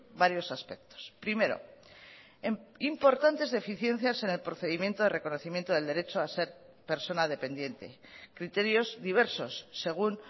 varios aspectos primero importantes deficiencias en el procedimiento de reconocimiento del derecho a ser persona dependiente criterios diversos según